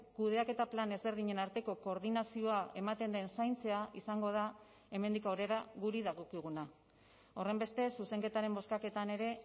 kudeaketa plan ezberdinen arteko koordinazioa ematen den zaintzea izango da hemendik aurrera guri dagokiguna horrenbestez zuzenketaren bozkaketan ere